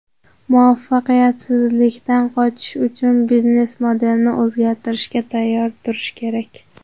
Muvaffaqiyatsizlikdan qochish uchun biznes-modelni o‘zgartirishga tayyor turish kerak.